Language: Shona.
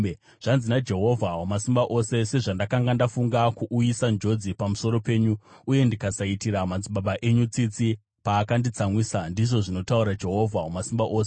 Zvanzi naJehovha Wamasimba Ose: “Sezvandakanga ndafunga kuuyisa njodzi pamusoro penyu, uye ndikasaitira madzibaba enyu tsitsi paakanditsamwisa,” ndizvo zvinotaura Jehovha Wamasimba Ose,